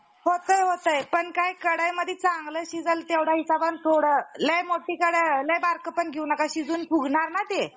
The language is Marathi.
कच्छ पडले. अं कच्छ भुवदेव अथवा भूपती क्षत्रिय द्विज अशा कक्ष पारा~ अं पराज्याविषयी,